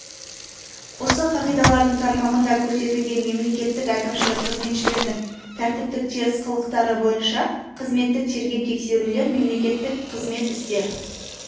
осы қағидалардың тармағында көрсетілген мемлекеттік әкімшілік қызметшілердің тәртіптік теріс қылықтары бойынша қызметтік тергеп-тексерулер мемлекеттік қызмет істер